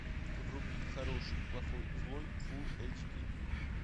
вруби хороший плохой злой фулл эйч ди